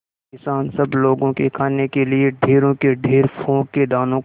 किसान सब लोगों के खाने के लिए ढेरों के ढेर पोंख के दानों को